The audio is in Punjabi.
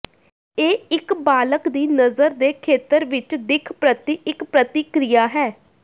ਇਹ ਇੱਕ ਬਾਲਗ ਦੀ ਨਜ਼ਰ ਦੇ ਖੇਤਰ ਵਿੱਚ ਦਿੱਖ ਪ੍ਰਤੀ ਇੱਕ ਪ੍ਰਤੀਕ੍ਰਿਆ ਹੈ